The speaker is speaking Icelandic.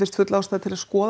full ástæða til að skoða